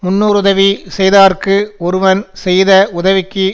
முன்னோருதவி செய்யாதார்க்கு ஒருவன் செய்த வுதவிக்கு